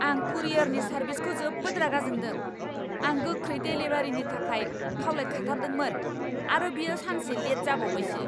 आं कुरियरनि सारभिसखौ जोबोद रागा जोंदों। आं गोख्रै देलिभारिनि थाखाय खावलायखाथारदोंमोन आरो बेयो सानसे लेट जाबावबायसो।